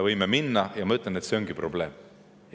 Ma ütlen, et see ongi probleem.